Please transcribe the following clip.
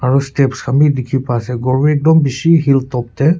Aro steps khan beh dekhe pa ase khor beh ektum beshe hilltop tey.